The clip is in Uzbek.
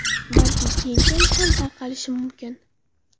Balki keyinchalik ham tarqatilishi mumkin.